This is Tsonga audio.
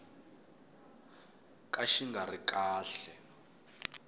ka xi nga ri kahle